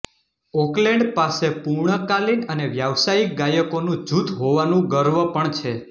Oakland પાસે પૂર્ણકાલિન અને વ્યાવસાયિક ગાયકોનું જૂથ હોવાનું ગર્વ પણ છે